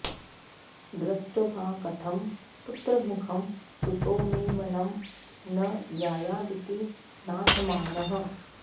दृष्ट्वा कथं पुत्रमुखं सुतो मे वनं न यायादिति नाथमानः